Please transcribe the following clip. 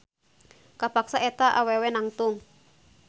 Kapaksa eta awewe nangtung.